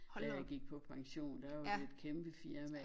Da jeg gik på pension der var det et kæmpe firma